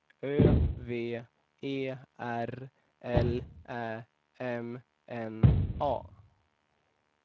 Ö V E R L Ä M N A